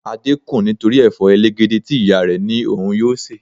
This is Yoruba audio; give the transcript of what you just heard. Adé kùn nítorí Ẹ̀fọ́ elegede tí ìyá rẹ ní òun yóò se.